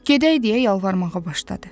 Gedək deyə yalvarmağa başladı.